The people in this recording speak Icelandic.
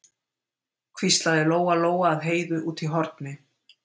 hvíslaði Lóa-Lóa að Heiðu úti í horni.